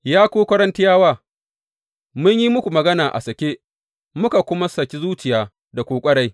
Ya ku Korintiyawa, mun yi muku magana a sake, muka kuma saki zuciya da ku ƙwarai.